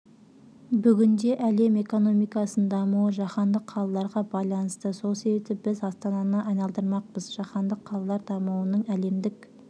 бүгінде әлем экономикасының дамуы жаһандық қалаларға байланысты сол себепті біз астананы айналдырмақпыз жаһандық қалалар дамуының әлемдік